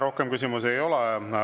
Rohkem küsimusi ei ole.